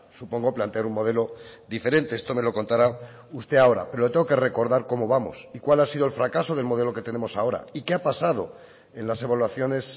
supongo plantear un modelo diferente esto me lo contará usted ahora pero le tengo que recordar cómo vamos y cuál ha sido el fracaso del modelo que tenemos ahora y qué ha pasado en las evaluaciones